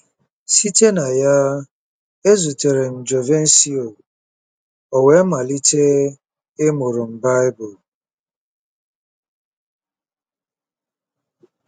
Site na ya, ezutere m Jovencio, o wee malite ịmụrụ m Bible.